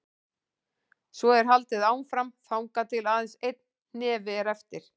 Svo er haldið áfram þangað til aðeins einn hnefi er eftir.